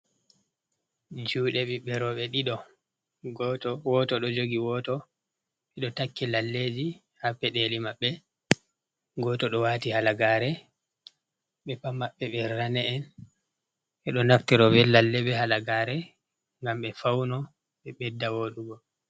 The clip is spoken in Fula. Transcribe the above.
Juɗe bibbe robe ɗiɗo. Woto ɗo jogi woto. Be ɗoo takki lalleji. Ha peɗeli mabbe. Goto ɗo wati halagare. Be pat mabbe be rane en. Be ɗo naftiro be lalle be halagare ngam be fauno be beɗɗa woɗugo.